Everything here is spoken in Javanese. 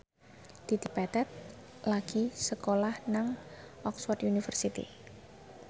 Dedi Petet lagi sekolah nang Oxford university